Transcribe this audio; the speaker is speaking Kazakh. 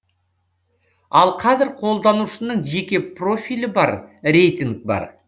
ал қазір қолданушының жеке профилі бар рейтинг бар